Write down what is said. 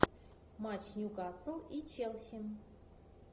матч ньюкасл и челси